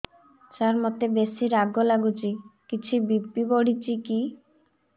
ସାର ମୋତେ ବେସି ରାଗ ଲାଗୁଚି କିଛି ବି.ପି ବଢ଼ିଚି କି